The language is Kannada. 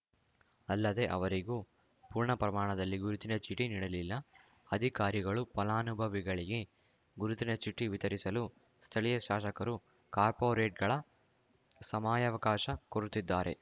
ಅಲ್ಲದೆ ಅವರಿಗೂ ಪೂರ್ಣ ಪ್ರಮಾಣದಲ್ಲಿ ಗುರುತಿನ ಚೀಟಿ ನೀಡಲಿಲ್ಲ ಅಧಿಕಾರಿಗಳು ಫಲಾನುಭವಿಗಳಿಗೆ ಗುರುತಿನ ಚೀಟಿ ವಿತರಿಸಲು ಸ್ಥಳೀಯ ಶಾಸಕರು ಕಾರ್ಪೊರೇಟರ್‌ಗಳ ಸಮಯಾವಕಾಶ ಕೋರುತ್ತಿದ್ದಾರೆ